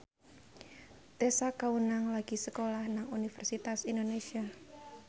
Tessa Kaunang lagi sekolah nang Universitas Indonesia